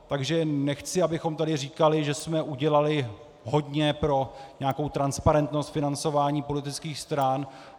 Takže nechci, abychom tady říkali, že jsme udělali hodně pro nějakou transparentnost financování politických stran.